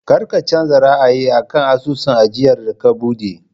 Kar ka canza ra'ayi a kan asusun ajiyar da ka buɗe!